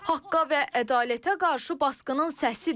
Haqqa və ədalətə qarşı basqının səsidir.